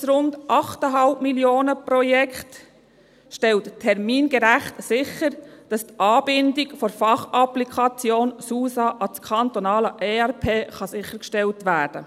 Das rund 8,5 Millionen-Projekt stellt termingerecht sicher, dass die Anbindung der Fachapplikation SUSA an das kantonale ERP erfolgen kann.